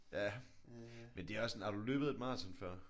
Ja men det er også sådan har du løbet et maraton før?